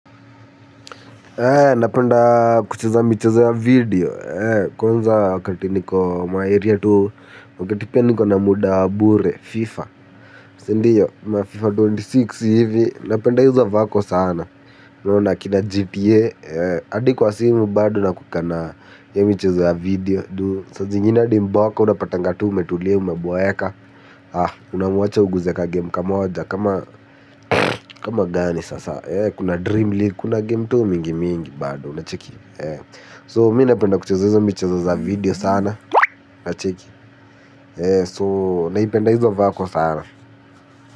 Napenda kucheza mchezo ya video, kwanza kati niko maeria tu, wakati pia niko na muda wa bure, fifa, sindio, mafifa ishirini na sita hivi, napenda izo vako sana, naona kina gta, hadi kwa simu bado na kutana hiyo michezo ya video, juu, saa zingine hadi mboka, unapatanga tu, umetulia, umaboeka, ah, unamwacha uguze ka game kamaoja, kama gani sasa, eh, kuna dream league, kuna game tu mingi mingi bado, unacheki. So mi napenda kucheza hizo michezo za video sana unacheki so naipenda hizo vako sana.